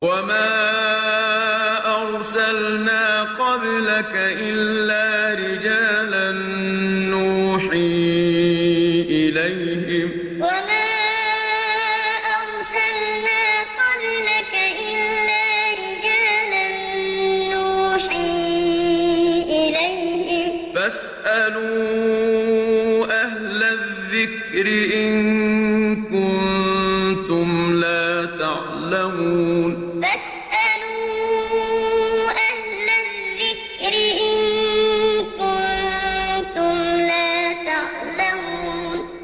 وَمَا أَرْسَلْنَا قَبْلَكَ إِلَّا رِجَالًا نُّوحِي إِلَيْهِمْ ۖ فَاسْأَلُوا أَهْلَ الذِّكْرِ إِن كُنتُمْ لَا تَعْلَمُونَ وَمَا أَرْسَلْنَا قَبْلَكَ إِلَّا رِجَالًا نُّوحِي إِلَيْهِمْ ۖ فَاسْأَلُوا أَهْلَ الذِّكْرِ إِن كُنتُمْ لَا تَعْلَمُونَ